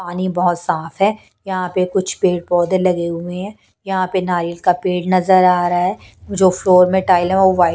पानी बहुत साफ है यहां पे कुछ पेड़ पौधे लगे हुए हैं यहां पे नारियल का पेड़ नजर आ रहा है जो फ्लोर में टाइल हैवो वाइट। --